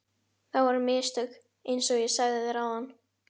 Það voru mistök einsog ég sagði þér áðan.